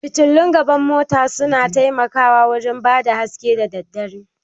Fitillun gaban mota su na taimako wurin bada haske da dare